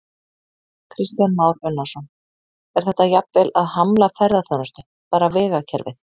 Kristján Már Unnarsson: Er þetta jafnvel að hamla ferðaþjónustu, bara vegakerfið?